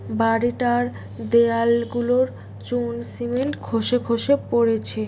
বাড়িটার দেয়ালগুলোর চুন সিমেন্ট খসে খসে পড়েছে।